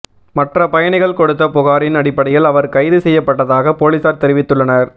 மற்ற பயணிகள் கொடுத்த புகாரின் அடிப்படையில் அவர் கைது செய்யப்பட்டதாக போலீசார் தெரிவித்துள்ளனர்